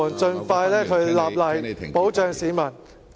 盡快立例，保障市民。